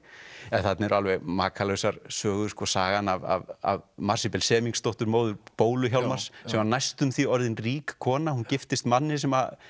en þarna eru alveg makalausar sögur sagan af Marsibil móður bólu Hjálmars sem var næstum því orðin rík kona hún giftist manni sem